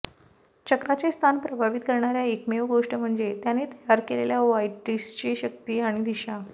चक्राचे स्थान प्रभावित करणार्या एकमेव गोष्ट म्हणजे त्यांनी तयार केलेल्या व्हायटेिसची शक्ती आणि दिशा